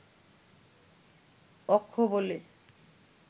অক্ষ বলে